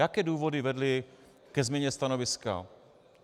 Jaké důvody vedly ke změně stanoviska?